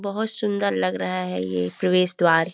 बहुत सुंदर लग रहा है ये प्रवेश द्वार--